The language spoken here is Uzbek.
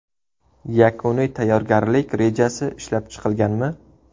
Yakuniy tayyorgarlik rejasi ishlab chiqilganmi?